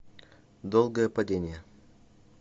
долгое падение